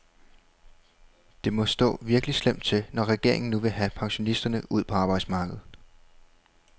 Det må stå virkelig slemt til, når regeringen nu vil have pensionisterne ud på arbejdsmarkedet.